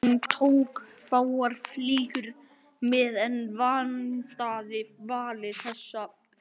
Hún tók fáar flíkur með en vandaði valið þess betur.